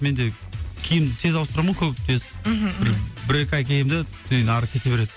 менде киім тез ауыстырамын ғой көп тез мхм бір екі ай киемін де содан ары кете береді